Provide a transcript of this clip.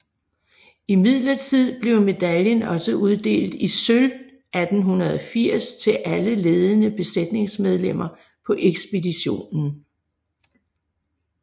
Imidlertid blev medaljen også uddelt i sølv 1880 til alle ledende besætningsmedlemmer på ekspeditionen